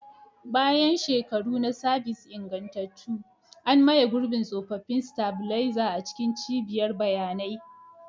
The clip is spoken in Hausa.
Bayan shekaru na sabis ingantattu, an maye gurbin tsofaffin stabilizer a cikin cibiyar bayanai.